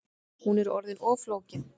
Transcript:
Hún er orðin of flókin